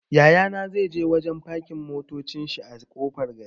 Yaya na zai je wajen fakin motacin shi a ƙofar gari.